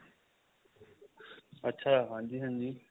ਅੱਛਾ ਹਾਂਜੀ ਹਾਂਜੀ